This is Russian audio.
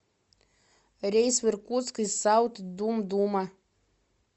рейс в иркутск из саут думдума